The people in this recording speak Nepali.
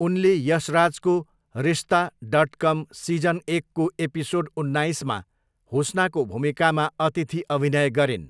उनले यशराजको रिश्ता डट कम सिजन एकको एपिसोड उन्नाइसमा हुस्नाको भूमिकामा अतिथि अभिनय गरिन्।